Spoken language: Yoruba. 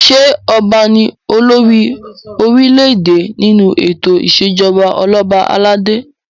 Ṣé ọba ni olórí orílẹ̀-èdè nínú ètò ìṣèjọba ọlọba aládé?